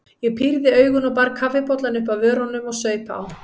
Ég pírði augun og bar kaffibollann upp að vörunum og saup á.